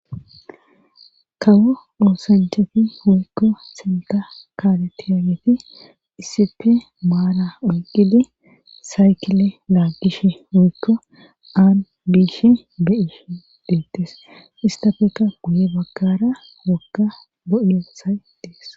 kawo oosancefi huykko sinta kaaletiyageeti isipe maala oyqidi saykile laaggish huykko aan biish beiish deettes istafeka guye bagkara wokka bo7yo say dees.